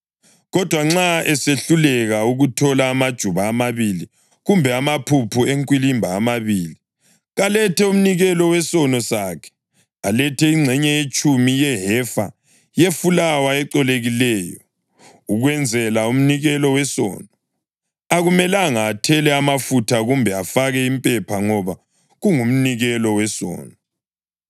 Kodwa nxa esehluleka ukuthola amajuba amabili kumbe amaphuphu enkwilimba amabili, kalethe umnikelo wesono sakhe, alethe ingxenye yetshumi yehefa yefulawa ecolekileyo ukwenzela umnikelo wesono. Akumelanga athele amafutha kumbe afake impepha ngoba kungumnikelo wesono.